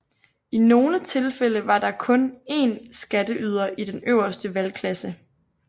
I nogle tilfælde var der kun én skatteyder i den øverste valgklasse